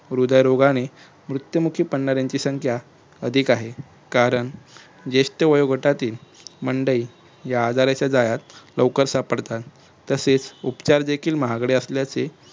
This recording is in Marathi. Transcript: हृदयरोगाच्या मृत्युमुखी पडणाऱ्यांची संख्या अधिक आहे. कारण ज्येष्ठ वयोगटातील मंडळी या आजाराच्या जाळयात लवकर सापडतात. तसेच उपचार देखील महागडे असल्याचे